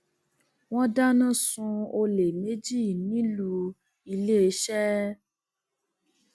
wọn dáná sun olè méjì nílùú iléeṣẹ